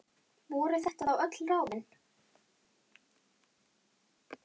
Voru þetta þá öll ráðin?